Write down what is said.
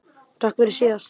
Takk fyrir síðast?